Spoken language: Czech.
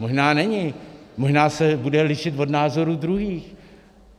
Možná není, možná se bude lišit od názoru druhých.